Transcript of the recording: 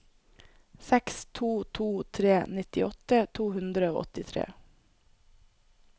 seks to to tre nittiåtte to hundre og åttitre